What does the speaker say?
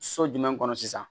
So jumɛn kɔnɔ sisan